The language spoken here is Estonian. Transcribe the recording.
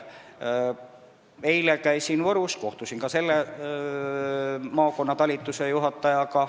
Eile käisin Võrus ja kohtusin selle maakonna talitusejuhatajaga.